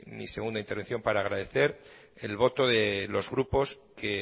mi segunda intervención para agradecer el voto de los grupos que